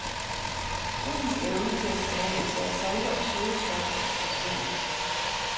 Hundens evne til at smage især salte og søde stoffer svinder.